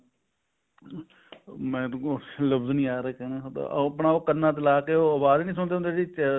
ਮੇਰੇ ਕੋਲ ਲਵਜ ਨੀ ਆਹ ਰਿਹਾ ਕਹਿਣ ਦਾ ਆਪਣਾ ਉਹ ਕੰਨਾ ਤੇ ਲਾਕੇ ਆਵਾਜ ਨੀ ਸੁਣਦੇ ਹੁੰਦੇ ਜਿਹੜੀ